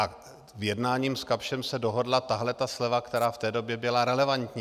A v jednání s Kapschem se dohodla tahle ta sleva, která v té době byla relevantní.